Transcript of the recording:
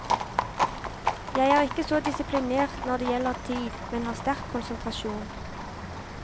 Jeg er ikke så disiplinert når det gjelder tid, men har sterk konsentrasjon.